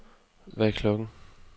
Hvad er klokken